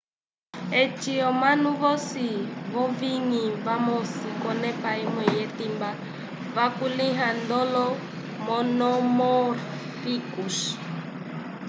eci omanu vosi v'owiñgi vamosi k'onepa imwe yetimba vakulĩhiwa ndolo monomórficos